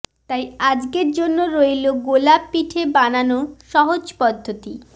তাই আজকের জন্য রইল গোলাপ পিঠে বানানোর সহজ পদ্ধতি